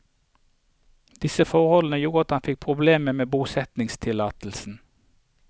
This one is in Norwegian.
Disse forholdene gjorde at han fikk problemer med bosettingstillatelsen.